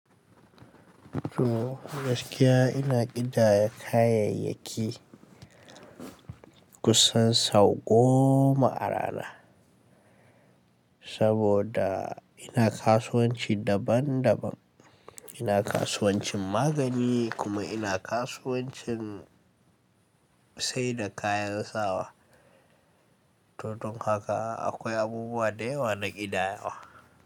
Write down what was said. To gaskiya ina ƙidaya kayayyaki kusan sau goma a rana, saboda ina kasuwanci daban daban. Ina kasuwancin magani kuma ina kasuwancin saida kayan sawa. To don haka akwai abubuwa da yawa na ƙidayawa.